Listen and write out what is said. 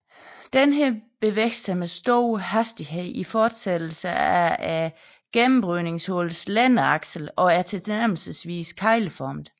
Denne bevæger sig med stor hastighed i fortsættelse af gennembrydningshullets længdeakse og er tilnærmelsesvis kegleformet